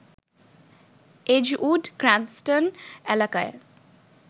Edgewood Cranston এলাকায়